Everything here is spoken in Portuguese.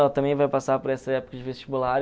Ela também vai passar por essa época de vestibular.